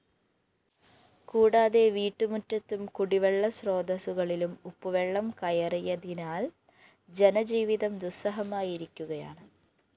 കൂടാതെ വീട്ടുമുറ്റത്തും കുടിവെളള സ്രോതസുകളിലും ഉപ്പുവെളളം കയറിയതിനാല്‍ ജനജീവിതം ദുസ്സഹമായിരിക്കുകയാണ്